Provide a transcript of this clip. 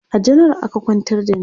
a janaral aka kwantar da ni